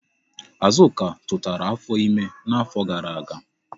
Azụka tụtara afọ ime n'afọ gara aga.